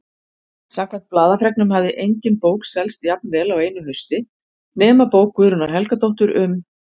Samkvæmt blaðafregnum hafði engin bók selst jafnvel á einu hausti nema bók Guðrúnar Helgadóttur um